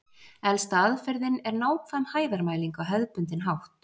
Elsta aðferðin er nákvæm hæðarmæling á hefðbundinn hátt.